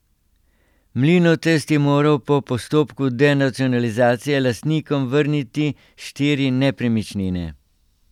Mlinotest je moral po postopku denacionalizacije lastnikom vrniti štiri nepremičnine.